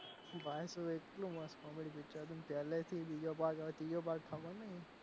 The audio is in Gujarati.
ભાઈ શું એટલું મસ્ત comedy picture હતું પહેલેથી બીજો ભાગ હવે ત્રીજો ભાગ ખબર નહીં,